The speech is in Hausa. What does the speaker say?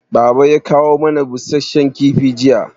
Baba ya kawo mana busasshen kifi jiya